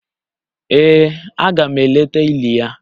Ee, aga m eleta ili ya